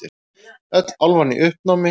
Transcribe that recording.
Öll álfan í uppnámi.